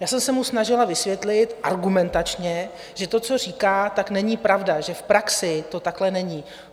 Já jsem se mu snažila vysvětlit argumentačně, že to, co říká, tak není pravda, že v praxi to takhle není.